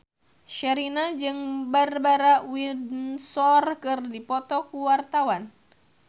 Sherina jeung Barbara Windsor keur dipoto ku wartawan